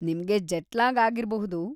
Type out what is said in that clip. ನಿಮ್ಗೆ ಜೆಟ್‌-ಲ್ಯಾಗ್‌ ಆಗಿರ್ಬಹುದು.